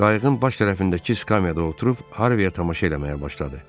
Qayığın baş tərəfindəki skamyada oturub, Harviyə tamaşa eləməyə başladı.